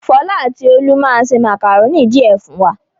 Fọlá àti Olú máa se màkàrónì díẹ̀ fún wa.